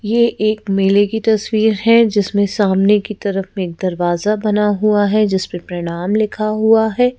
ये एक मेले की तस्वीर है जिसमें सामने की तरफ एक दरवाजा बना हुआ है जिस पर प्रणाम लिखा हुआ है।